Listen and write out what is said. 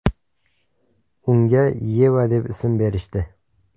Unga Yeva deb ism berishdi.